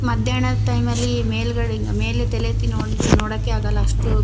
ಮಧ್ಯಾಹ್ನದ ಟೈಮ್ ಲಿ ಮೇಲ್ಗಡೆ ಮೇಲೆ ತಲೆ ಎತ್ತಿ ನೋಡಕ್ಕೆ ಆಗಲ್ಲ ಅಷ್ಟು--